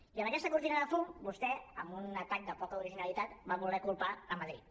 i amb aquesta cortina de fum vostè amb un atac de poca originalitat va voler culpar madrid